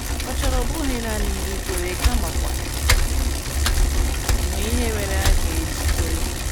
Ọ chọrọ ọ bụghị nanị ikwere kamakwa inwe ihe mere a ga - eji kwere.